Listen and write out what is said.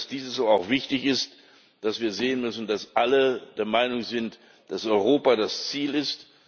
Ich meine, dass auch wichtig ist, dass wir sehen müssen, dass alle der Meinung sind, dass Europa das Ziel ist.